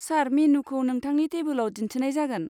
सार, मेनुखौ नोंथांनि टेबोलाव दिन्थिनाय जागोन।